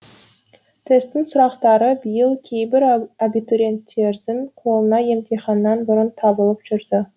тестің сұрақтары биыл кейбір абитуриенттердің қолынан емтиханнан бұрын табылып жүрді